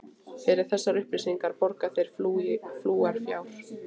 Fyrir þessar upplýsingar borga þeir fúlgur fjár.